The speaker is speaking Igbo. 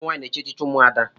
ụmụnwanyị na-echi echichi ụmụada